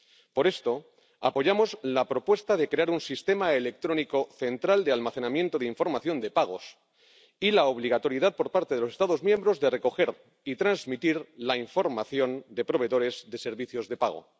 Por esto, apoyamos la propuesta de crear un sistema electrónico central de almacenamiento de información de pagos, y la obligatoriedad por parte de los Estados miembros de recoger y transmitir la información de proveedores de servicios de pago.